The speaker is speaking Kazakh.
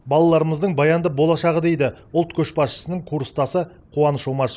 балаларымыздың баянды болашағы дейді ұлт көшбасшысының курстасы қуаныш омашев